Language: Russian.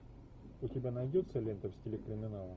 у тебя найдется лента в стиле криминала